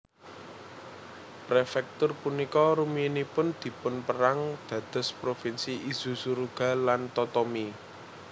Prefektur punika rumiyinipun dipunpérang dados Provinsi Izu Suruga lan Totomi